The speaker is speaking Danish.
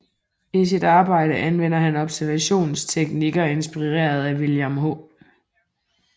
I sit arbejde anvender han observationsteknikker inspireret af William H